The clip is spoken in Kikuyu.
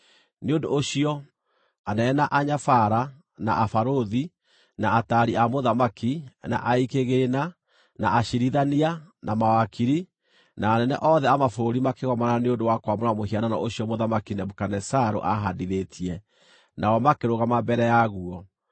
Nĩ ũndũ ũcio, anene, na anyabara, na abarũthi, na ataari a mũthamaki, na aigi kĩgĩĩna, na aciirithania, na mawakiri, na anene othe a mabũrũri makĩgomana nĩ ũndũ wa kwamũra mũhianano ũcio Mũthamaki Nebukadinezaru aahaandithĩtie, nao makĩrũgama mbere yaguo.